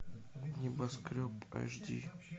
небоскреб аш ди